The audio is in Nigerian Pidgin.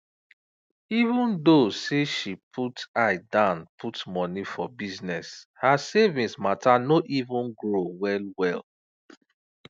even tho say she put eye dan put money for bizness her savings matter no even grow wellwell